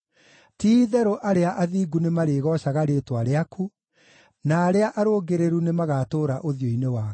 Ti-itherũ arĩa athingu nĩmarĩgoocaga rĩĩtwa rĩaku, na arĩa arũngĩrĩru nĩmagatũũra ũthiũ-inĩ waku.